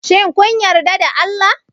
Shin kun yarda da Allah?